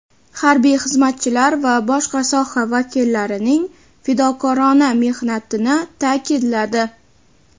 harbiy xizmatchilar va boshqa soha vakillarining fidokorona mehnatini ta’kidladi.